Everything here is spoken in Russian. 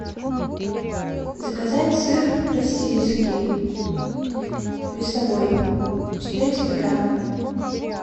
заказать сыр российский весовой четыреста грамм